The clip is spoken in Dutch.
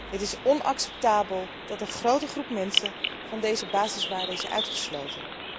Het is onacceptabel dat een grote groep mensen van deze basiswaarde is uitgesloten.